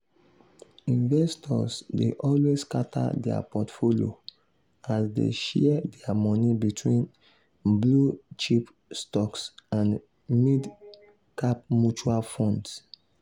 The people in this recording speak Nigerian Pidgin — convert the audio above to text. investors dey always scatter their portfolio as dey share their money between blue-chip stocks and mid-cap mutual funds.